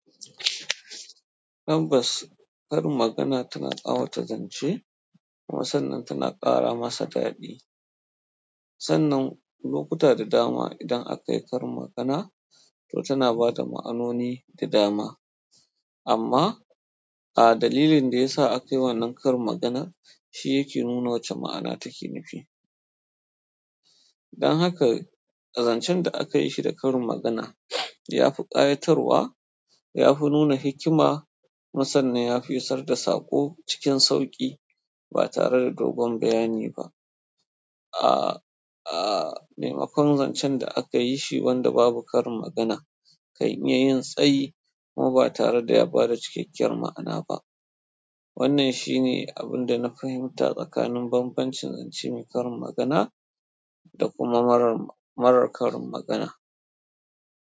Tabbas karin magana tana ƙawata zance kuma sannan tana ƙara masa daɗi sannan lokuta da dama idan akai karin magana to tana bada ma'anoni da dama amma, a dalilin da ya sa aka yi wannan karin magana, shi yake nuna wace ma'ana take nufi. Dan haka, zancen da aka yi shi da karin magana ya fi ƙayatarwa, ya fi nuna hikima, kuma sannan ya fi isar da saƙo cikin sauƙi ba tare da dogon bayani ba. Ah ah maimakon zancen da akayi shi wanda babu karin magana kan iya yin tsayi kuma ba tare da ya bada cikakkiyar ma'ana ba wannan shine abunda na fahimta tsakanin bambamcin zance mai karin magana da kuma marar, marar karin magana.